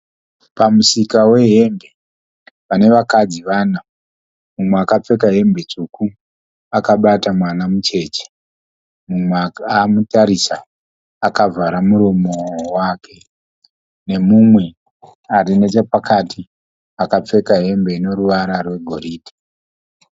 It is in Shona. Pamusika wehembe pane vakadzi vana, umwe akapfeka hembe tsvuku akabata mwana mucheche, mumwe akamutarisa akavhara muromo wake nemumwe arinechapakati akapfeka hembe ine ruvara rwegoridhe.